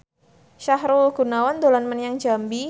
Sahrul Gunawan dolan menyang Jambi